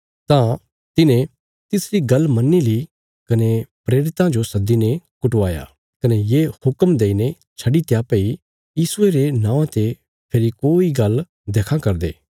तां तिन्हें तिसरी गल्ल मन्नी ली कने प्रेरितां जो सद्दीने कुटवाया कने ये हुक्म देईने छड्डीत्या भई यीशुये रे नौआं ते फेरी कोई गल्ल देखां करदे